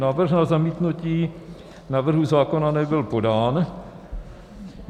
Návrh na zamítnutí návrhu zákona nebyl podán.